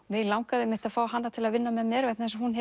mig langaði að fá hana til að vinna með mér vegna þess að hún